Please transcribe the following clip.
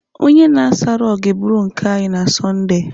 Onye na-asa rọgụ ga-eburu nke anyị na Sọnde.